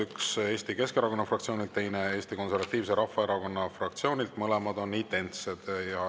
Üks Eesti Keskerakonna fraktsioonilt, teine Eesti Konservatiivse Rahvaerakonna fraktsioonilt.